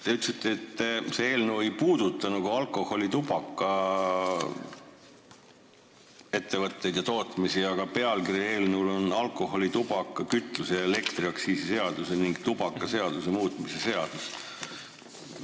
Te ütlesite, et see eelnõu ei puuduta nagu alkoholi- ja tubakaettevõtteid ega -tootmist, aga eelnõu pealkiri on "Alkoholi-, tubaka-, kütuse- ja elektriaktsiisi seaduse ning tubakaseaduse muutmise seaduse eelnõu".